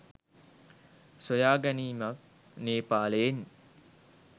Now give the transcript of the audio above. සොයාගැනීමක් නේපාලයෙන්.